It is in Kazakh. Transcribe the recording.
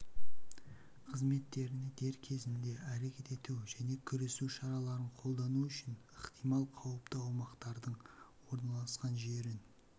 қызметтеріне дер кезінде әрекет ету және күресу шараларын қолдану үшін ықтимал қауіпті аумақтардың орналасқан жерін